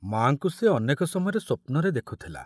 ମା'ଙ୍କୁ ସେ ଅନେକ ସମୟରେ ସ୍ବପ୍ନରେ ଦେଖୁଥିଲା।